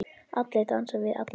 Allir dansa við alla.